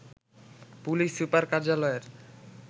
police super কার্যালয়ের